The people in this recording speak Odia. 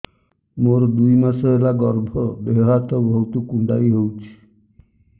ମୋର ଦୁଇ ମାସ ହେଲା ଗର୍ଭ ଦେହ ହାତ ବହୁତ କୁଣ୍ଡାଇ ହଉଚି